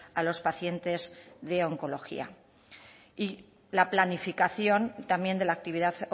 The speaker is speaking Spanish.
a los pacientes de oncología la planificación también de la actividad